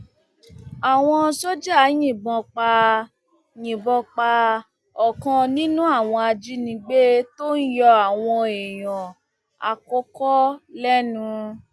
àwọn sójà yìnbọn pa yìnbọn pa ọkan nínú àwọn ajínigbé tó ń yọ àwọn èèyàn àkọkọ lẹnu